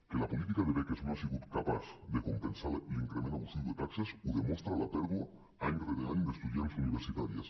que la política de beques no ha sigut capaç de compensar l’increment abusiu de taxes ho demostra la pèrdua any rere any d’estudiants universitàries